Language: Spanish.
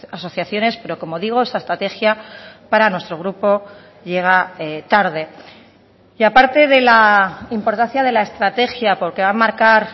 asociaciones pero como digo esta estrategia para nuestro grupo llega tarde y a parte de la importancia de la estrategia porque va a marcar